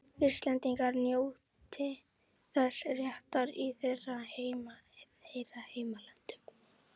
Íslendingar njóti þessa réttar í þeirra heimalöndum.